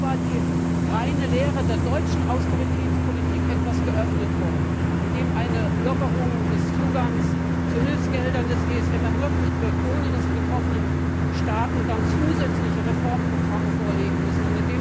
Es ist zwar die reine Lehre der deutschen Austeritätspolitik etwas geöffnet worden, indem eine Lockerung des Zugangs zu Hilfsgeldern des ESM ermöglicht wird, ohne dass die betroffenen Staaten dann zusätzliche Reformprogramme vorlegen müssen.